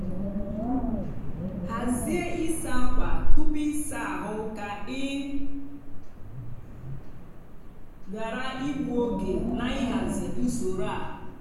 hazie ịsa ákwà tupu ịsa ahụ ka ị ghara igbu oge na ịhazi usoro a.